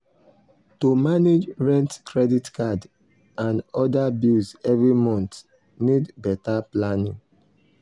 to manage rent credit card and other bills every month need better planning.